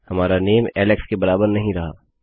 हमारा नाम एलेक्स के बराबर नहीं रहा